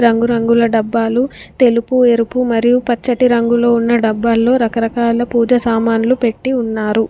రంగురంగుల డబ్బాలు తెలుపు ఎరుపు మరియు పచ్చటి రంగులో ఉన్న డబ్బాల్లో రకరకాల పూజ సామాన్లు పెట్టి ఉన్నారు.